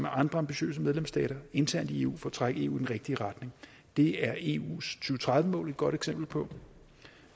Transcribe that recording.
andre ambitiøse medlemsstater internt i eu for at trække eu i den rigtige retning det er eus to tredive mål et godt eksempel på